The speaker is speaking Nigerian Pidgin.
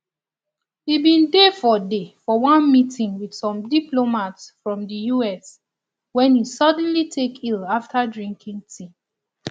e bin dey for dey for one meeting wit some diplomats from di us wen e suddenly take ill afta drinking tea